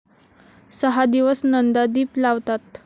सहा दिवस नंदादीप लावतात.